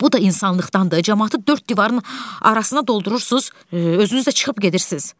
Bu da insanlıqdandır, camaatı dörd divarın arasına doldurursunuz, özünüz də çıxıb gedirsiz.